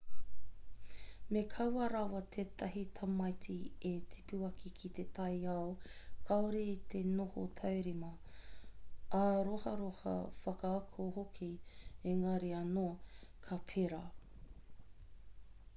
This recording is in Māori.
me kaua rawa tētahi tamaiti e tipu ake ki te taiao kāore i te noho taurima āroharoha whakaako hoki engari anō ka pērā